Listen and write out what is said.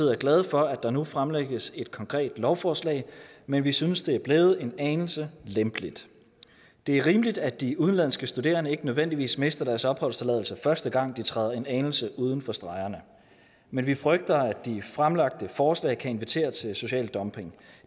er glade for at der nu fremlægges et konkret lovforslag men vi synes det er blevet en anelse lempeligt det er rimeligt at de udenlandske studerende ikke nødvendigvis mister deres opholdstilladelse første gang de træder en anelse uden for stregerne men vi frygter at de fremlagte forslag kan invitere til social dumping